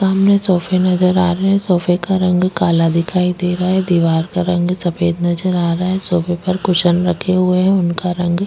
सामने सोफे नजर आ रहै है सोफे का रंग काला दिखाई दे रहा है दिवार का रंग सफ़ेद नजर आ रहा है सोफे पर कुशन रखे हुए है उनका रंग --